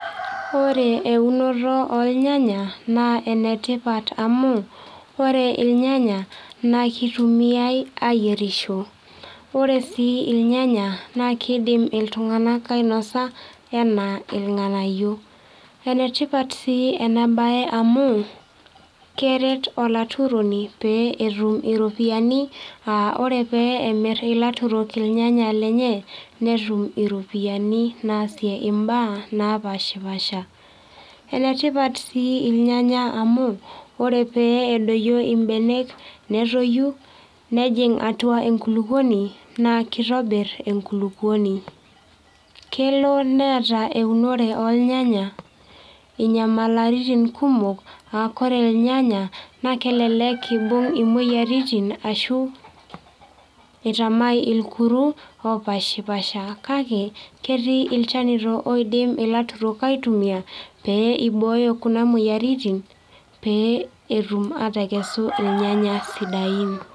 Ore eunoto ornyanya, naa enetipat amu, ore irnyanya, naa kitumiai ayierisho. Ore si irnyanya, na kiidim iltung'anak ainosa, enaa irng'anayio. Enetipat si enabae amu, keret olaturoni pee etum iropiyiani, ah ore pe emir ilaturok irnyanya lenye, netum iropiyiani naasie imbaa napashipasha. Enetipat si irnyanya amu, ore pee edoyio ibenek netoyu, nejing' atua enkulukuoni, naa kitobir enkulukuoni. Kelo neeta eunore ornyanya inyamalaritin kumok, ah kore irnyanya, naa kelelek ibung' imoyiaritin, ashu itamai irkuru opashipasha. Kake, ketii ilchanito oidim ilaturok aitumia, pee ibooyo kuna moyiaritin, pee etum atekesu irnyanya sidain.